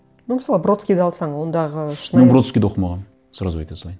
ну мысалы бродскийді алсаң ондағы шынайы мен бродскийді оқымағанмын сразу айта салайын